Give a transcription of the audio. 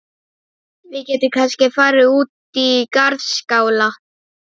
Við getum kannski farið út í garðskála.